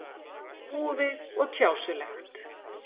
Úfið og tjásulegt.